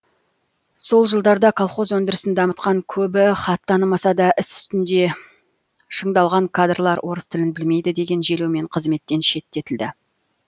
сол жылдарда колхоз өндірісін дамытқан көбі хат танымаса да іс үстінде шыңдалған кадрлар орыс тілін білмейді деген желеумен қызметтен шеттетілді